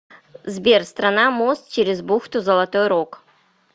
сбер страна мост через бухту золотой рог